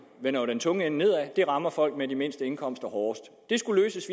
vender den tunge ende nedad og rammer folk med de mindste indkomster hårdest det skulle løses